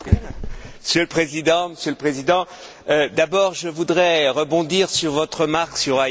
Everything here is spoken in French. Monsieur le Président, Monsieur le Président, d'abord je voudrais rebondir sur votre remarque sur Haïti.